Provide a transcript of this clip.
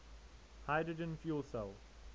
hydrogen fuel cell